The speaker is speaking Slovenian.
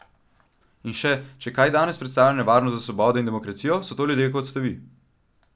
In še: "Če kaj danes predstavlja nevarnost za svobodo in demokracijo, so to ljudje, kot ste vi.